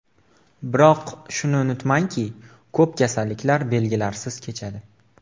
Biroq shuni unutmangki, ko‘p kasalliklar belgilarsiz kechadi.